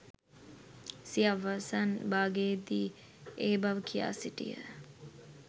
සිය අවසන් භාගයේදී ඒ බව කියා සිටියා.